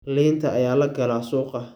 Liinta ayaa la galaa suuqa.